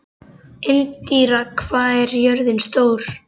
Indíra, hvað er jörðin stór?